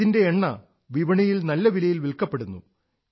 ഇതിന്റെ എണ്ണ വിപണിയിൽ നല്ല വിലയിൽ വിൽക്കപ്പെടുന്നു